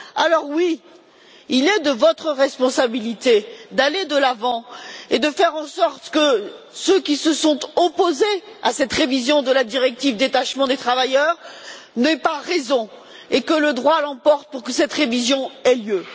Alors, oui, il est de votre responsabilité d'aller de l'avant et de faire en sorte que ceux qui se sont opposés à cette révision de la directive sur le détachement des travailleurs n'aient pas raison et que le droit l'emporte pour que cette révision ait lieu.